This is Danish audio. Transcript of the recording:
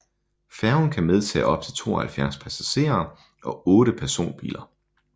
Færgen kan medtage op til 72 passagerer og 8 personbiler